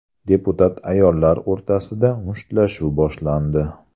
Deputat ayollar o‘rtasida mushtlashuv boshlandi.